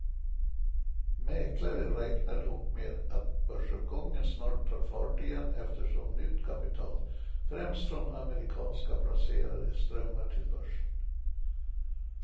Mäklare räknar dock med att börsuppgången snart tar fart igen eftersom nytt kapital, främst från amerikanska placerare, strömmar till börsen.